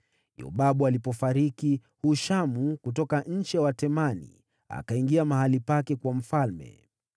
Yobabu alipofariki, Hushamu kutoka nchi ya Watemani akawa mfalme baada yake.